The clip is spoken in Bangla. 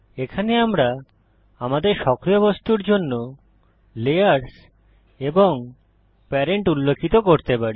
এখানে আমরা আমাদের সক্রিয় বস্তুর জন্য লেয়ার এবং প্যারেন্ট উল্লিখিত করতে পারি